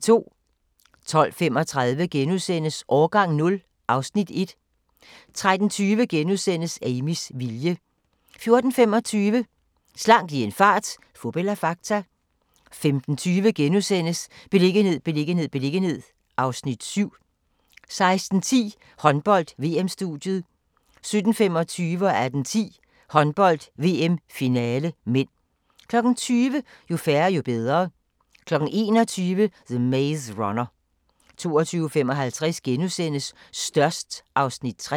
12:35: Årgang 0 (Afs. 1)* 13:20: Amys vilje * 14:25: Slank i en fart - fup eller fakta? 15:20: Beliggenhed, beliggenhed, beliggenhed (Afs. 7)* 16:10: Håndbold: VM-studiet 17:25: Håndbold: VM - finale (m) 18:10: Håndbold: VM - finale (m) 20:00: Jo færre, jo bedre 21:00: The Maze Runner 22:55: Størst (Afs. 3)*